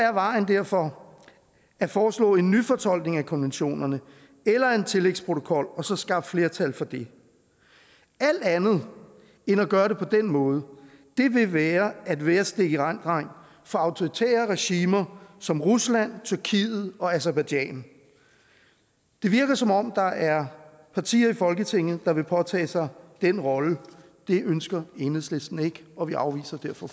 er vejen derfor at foreslå en nyfortolkning af konventionerne eller en tillægsprotokol og så skaffe flertal for det alt andet end at gøre det på den måde vil være at være stikirenddreng for autoritære regimer som rusland tyrkiet og aserbajdsjan det virker som om der er partier i folketinget der vil påtage sig den rolle det ønsker enhedslisten ikke og vi afviser derfor